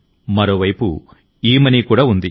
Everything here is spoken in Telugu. మరోవైపు ఈమనీ కూడా ఉంది